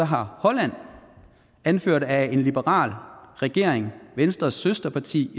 har holland anført af en liberal regering af venstres søsterparti